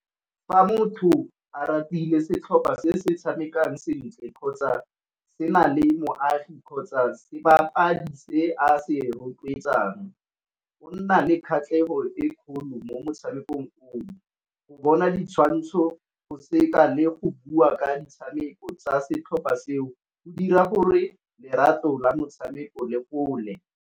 Fa motho a ratile setlhopha se se tshamekang sentle kgotsa se na le moagi kgotsa sebapadi se a se rotloetsang. O nna le kgatlhego e kgolo mo motshamekong, go bona ditshwantsho go seka le go bua ka ditshameko tsa setlhopha seo go dira gore lerato la motshameko gole.